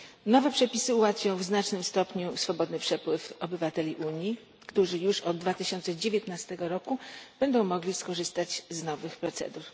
Nowe przepisy ułatwią w znacznym stopniu swobodny przepływ obywateli Unii, którzy już od 2019 roku będą mogli skorzystać z nowych procedur.